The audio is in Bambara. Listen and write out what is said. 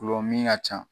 Gulɔ min ka ca